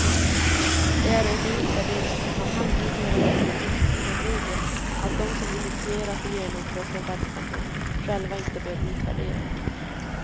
Det är en i utvärderingssammanhang numera nästan oskriven regel, att de som initierat och genomfört en verksamhet, själva inte bör utvärdera den.